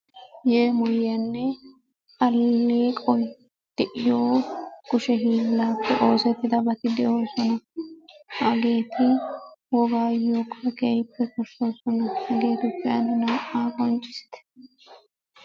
Yeemoyiyaanne alleqoy de'iyo kushe hiillaappe oosettidabati de'oosona. Hageeti wogaayyookka keehippe koshshoosona. Hegeetuppe ane naa"aa qonccissite.